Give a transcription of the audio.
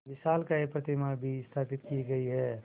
विशालकाय प्रतिमा भी स्थापित की गई है